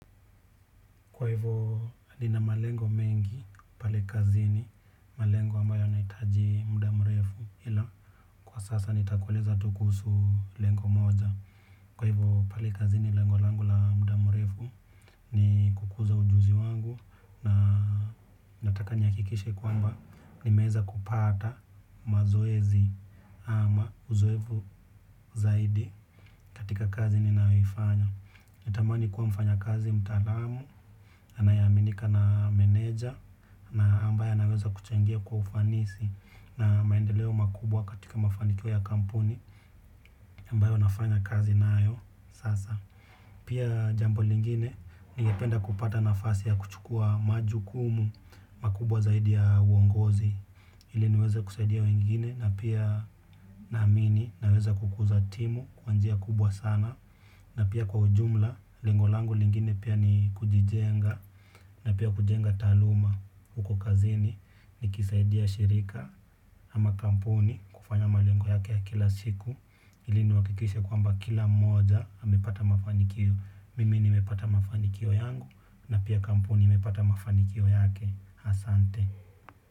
Kwa hivyo nina malengo mengi pale kazini malengo ambayo naitaji muda mrefu ila kwa sasa nitakueleza tu kuhusu lengo moja. Kwa hivyo pale kazini lengo langu la muda mrefu ni kukuza ujuzi wangu na nataka niakikishe kwamba nimeweza kupata mazoezi ama uzoevu zaidi. Katika kazi ninaifanya natamani kuwa mfanya kazi mtaalamu. Anayeminika na meneja. Na ambaye anaweza kuchengia kwa ufanisi. Na maendeleo makubwa katika mafanikio ya kampuni ambayo nafanya kazi nayo sasa. Pia jambo lingine ningependa kupata nafasi ya kuchukua majukumu makubwa zaidi ya uongozi. Ili niweze kusaidia wengine. Na pia naamini naweza kukuza timu kwa njia kubwa sana na pia kwa ujumla, lengo langu lingine pia ni kujijenga na pia kujenga taaluma huko kazini ni kisaidia shirika ama kampuni kufanya malengo yake ya kila siku ili niakikishe kwa mba kila mmoja amepata mafanikio mimi nimepata mafanikio yangu na pia kampuni imepata mafanikio yake asante.